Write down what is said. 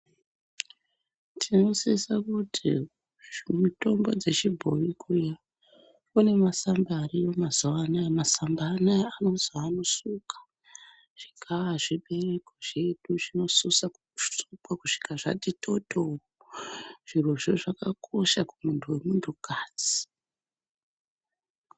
Tinosise kuti zvemitombo dzechibhoyi kuya kunemasamba ariyo mazuanoya, masamba anaya anozi anosuka zvigaa zvedu ,zvinosise kusukwa kusvika zvatitotoo, zvirozvo zvakakosha kumuntu wemuntukadzi.